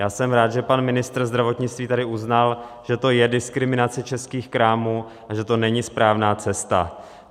Já jsem rád, že pan ministr zdravotnictví tady uznal, že to je diskriminace českých krámů a že to není správná cesta.